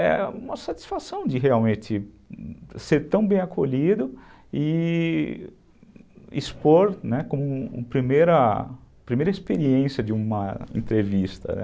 É uma satisfação de realmente ser tão bem acolhido e expor, né, como primeira primeira e experiência de uma entrevista.